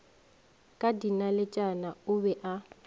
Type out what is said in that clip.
ka dinaletšana o be a